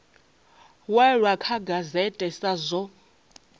walwa kha gazette sa zwo